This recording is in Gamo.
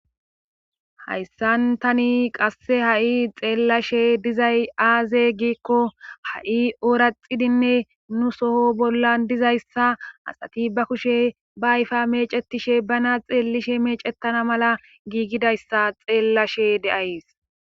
Hayssan tani qasse ha7i xeellashe dizay aaze giikko ha7i ooraxidinne nu soho bollan dizayssa asati ba kushe ba ayfa meecettishe bana xeellishe meecettana mala giigidayssa xeellashe deays